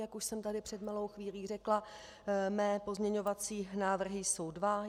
Jak už jsem tady před malou chvílí řekla, mé pozměňovací návrhy jsou dva.